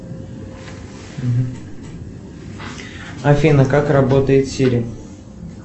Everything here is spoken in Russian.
афина как работает сири